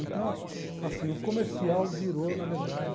Então, assim, o comercial virou, na verdade...